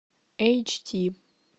эйч ди